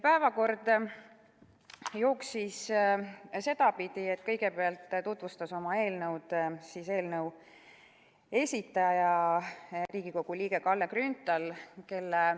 Päevakord jooksis sedapidi, et kõigepealt tutvustas oma eelnõu selle esitaja, Riigikogu liige Kalle Grünthal.